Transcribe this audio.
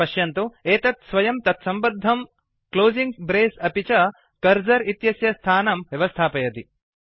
पश्यन्तु एतत् स्वयं तत्सम्बद्धं क्लोसिंग् ब्रेस् अपि च कर्सर इत्यस्य स्थानं व्यवस्थापयति